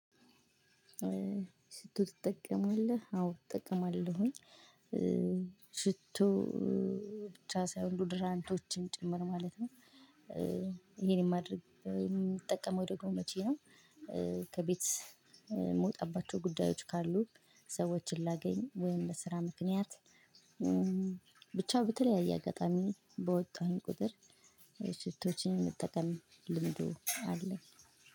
ሽቶ ትጠቀማለህ አዎ እጠቀማለሁኝ ሽቶ ብቻ ሳይሆን ዶዶራንቶችም ጭምር ማለት ነው። ይሄን የማድርግ ደግሞ መቼ ነው። ከቤት የምወጣባቸው ጉዳዮች ካሉ ሰዎችን ላገኝ ወይም ለስራ ምክንያት። ብቻ በተለያየ አጋጣሚ በወጣሁኝ ቁጥር ሴቶዎችን የመጠቀም ልምዱ አለ።